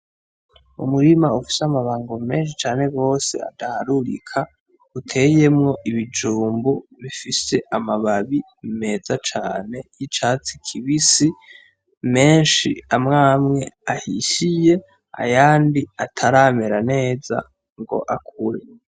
Umurima ufise amabango menshi cane gose adaharurika uteyemwo ibijumbu bifise amababi meza cane y'icatsi kibisi menshi amwe amwe ahishiye ayandi ataramera neza ngo akure.